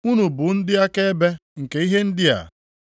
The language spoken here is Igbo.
Unu bụ ndị akaebe nke ihe ndị a.